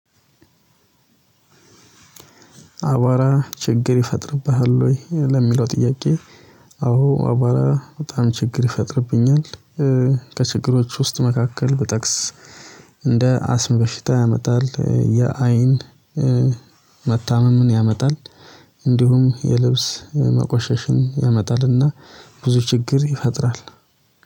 አቧራ ችግር ይፈጥርብሃል ወይ? ለሚለው ጥያቄ አዎ አቧራ በጣም ችግር ይፈጥርብኛል ከችግሮች ውስጥ መካከል ብጠቅስ እንደ አስም በሽታ ያመጣል የአይን መታመምን ያመጣል የልብስ መቆሸሽን ያመጣልና ብዙ ችግር ይፈጥራል